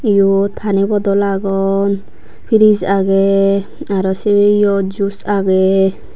iyot pani bottle agon fridge age aro se iyo juice agey.